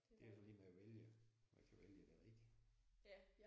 Det er jo så lige med at vælge og ikke få vælge det rigtige